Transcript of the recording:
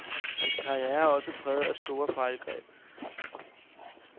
Hans karriere er også præget af store fejlgreb.